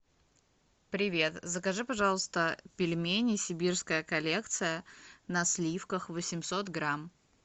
привет закажи пожалуйста пельмени сибирская коллекция на сливках восемьсот грамм